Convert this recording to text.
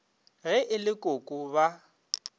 ge e le koko ba